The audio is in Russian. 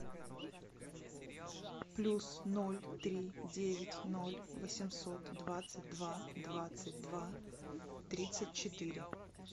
плюс ноль три девять ноль восемьсот двадцать два двадцать два тридцать четыре